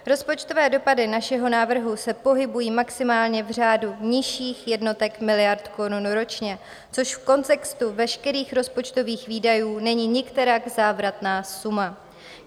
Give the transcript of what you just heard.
Rozpočtové dopady našeho návrhu se pohybují maximálně v řádu nižších jednotek miliard korun ročně, což v kontextu veškerých rozpočtových výdajů není nikterak závratná suma.